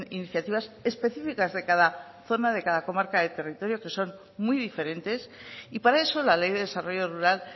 iniciativas específicas de cada zona de cada comarca del territorio que son muy diferentes y para eso la ley de desarrollo rural